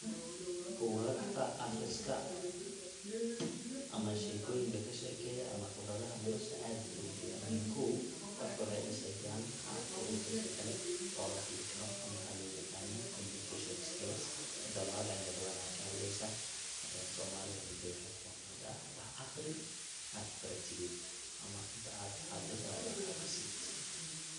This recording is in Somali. buggata aqriska ama shekoyinka kashekeya ama qibradaha nolasha aad ay ogu fican yihin, kow qofka waxay dhisayan qabka uu dadka kale ola hadli karo waxay loo yaqan communication skills dabacad cilmi badan aya kahadleysa, somalida waxay dhahda wax aqri ad wax baratide inta ad hadlin waa inad wax aqrisid